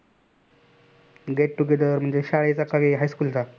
get together म्हणजे शाळेचा कि high school चा.